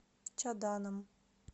чаданом